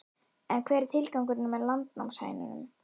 En hver er tilgangurinn með landnámshænunum?